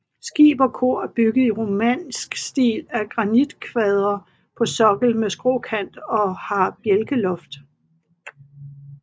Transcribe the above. Skib og kor er bygget i romansk stil af granitkvadre på sokkel med skråkant og har bjælkeloft